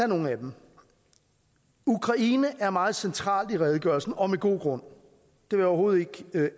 nogle af dem ukraine er meget central i redegørelse og med god grund jeg vil overhovedet ikke